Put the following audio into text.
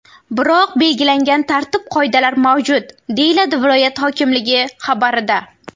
Biroq belgilangan tartib-qoidalar mavjud”, deyiladi viloyat hokimligi xabarida.